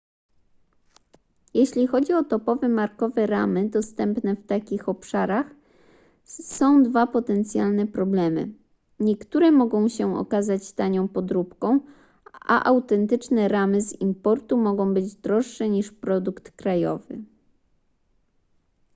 jeśli chodzi o topowe markowe ramy dostępne w takich obszarach są dwa potencjalne problemy niektóre mogą się okazać tanią podróbką a autentyczne ramy z importu mogą być droższe niż produkt krajowy